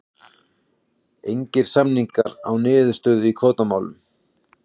Engir samningar án niðurstöðu í kvótamálum